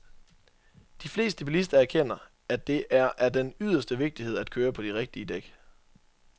De fleste bilister erkender, at det er af den yderste vigtighed at køre på de rigtige dæk.